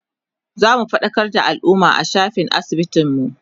zamu faɗakar da alumma a shafin asibitin mu